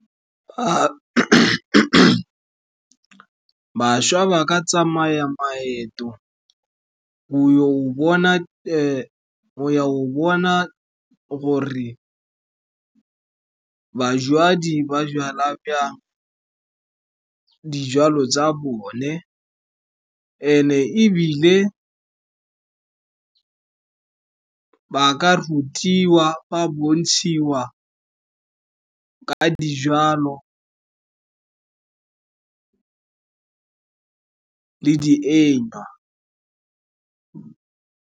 Bašwa ba ka tsamaya maeto go ya go bona gore ba jala dijalo tsa bone, and-e ebile ba ka rutiwa, ba bontshiwa ka dijalo .